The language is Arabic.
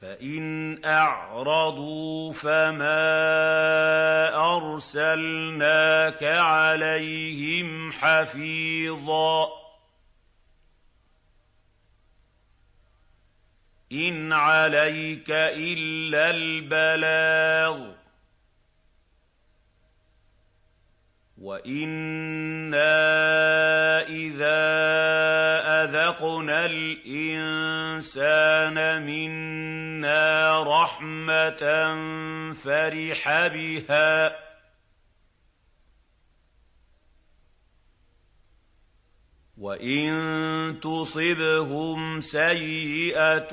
فَإِنْ أَعْرَضُوا فَمَا أَرْسَلْنَاكَ عَلَيْهِمْ حَفِيظًا ۖ إِنْ عَلَيْكَ إِلَّا الْبَلَاغُ ۗ وَإِنَّا إِذَا أَذَقْنَا الْإِنسَانَ مِنَّا رَحْمَةً فَرِحَ بِهَا ۖ وَإِن تُصِبْهُمْ سَيِّئَةٌ